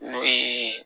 N'o ye